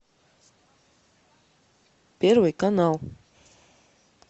первый канал